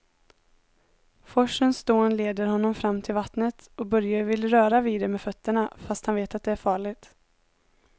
Forsens dån leder honom fram till vattnet och Börje vill röra vid det med fötterna, fast han vet att det är farligt.